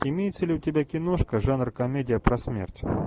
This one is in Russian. имеется ли у тебя киношка жанр комедия про смерть